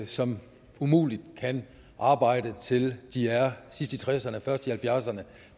som umuligt kan arbejde til de er sidst i tresserne først i halvfjerdserne